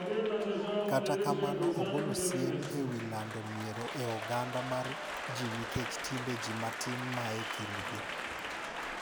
Kata kamano ogolo siem e wi lando miero e oganda mar ji nikech timbe ji matin ma e kindgi.